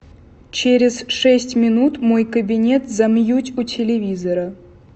через шесть минут мой кабинет замьють у телевизора